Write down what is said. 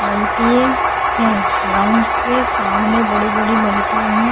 है ग्राउंड के सामने एक बड़े बड़े से है।